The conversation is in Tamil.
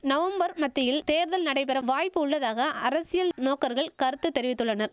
நவம்பர் மத்தியில் தேர்தல் நடைபெற வாய்ப்புள்ளதாக அரசியல் நோக்கர்கள் கருத்து தெரிவித்துள்ளனர்